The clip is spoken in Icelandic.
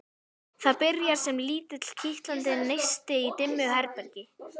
Það byrjar sem lítill, kitlandi neisti í dimmu herbergi.